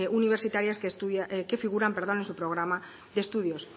universitarias que figuran en su programa de estudios